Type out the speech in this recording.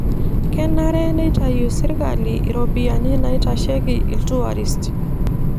Kenare neitayu serkali iropiyiani naitasheki iltuarist.